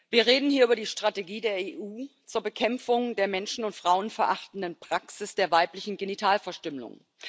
Wir reden hier über die Strategie der EU zur Bekämpfung der menschen und frauenverachtenden Praxis der weiblichen Genitalverstümmelung.